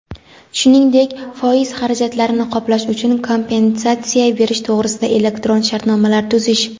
shuningdek foiz xarajatlarini qoplash uchun kompensatsiya berish to‘g‘risida elektron shartnomalar tuzish;.